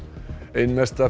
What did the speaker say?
ein mesta